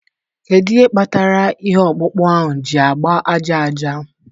Kedu ihe kpatara ihe ọkpụkpụ ahụ ji agba aja aja